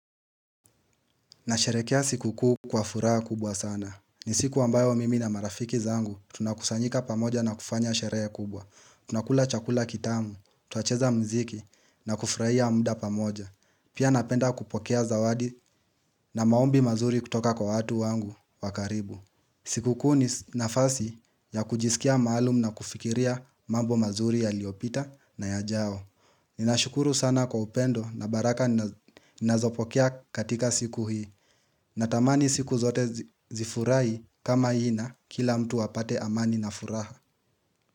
Nasherekea sikukuu kwa furaha kubwa sana. Ni siku ambayo mimi na marafiki zangu tunakusanyika pamoja na kufanya sherehe kubwa. Tunakula chakula kitamu, tunacheza muziki na kufurahia muda pamoja. Pia napenda kupokea zawadi na maombi mazuri kutoka kwa watu wangu wa karibu. Sikukuu ni nafasi ya kujisikia maalum na kufikiria mambo mazuri yaliopita na yajao Ninashukuru sana kwa upendo na baraka ninazopokea katika siku hii Natamani siku zote zifurahi kama hii na kila mtu apate amani na furaha.